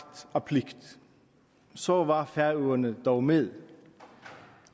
af pligt så var færøerne dog med